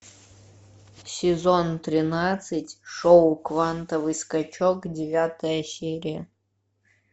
сезон тринадцать шоу квантовый скачок девятая серия